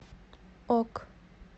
ок